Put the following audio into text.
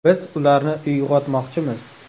Biz ularni uyg‘otmoqchimiz.